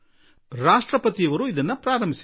ರಾಷ್ಟ್ರಪತಿ ಜೀ ಯವರು ಇದಕ್ಕೆ ಚಾಲನೆ ನೀಡಿದರು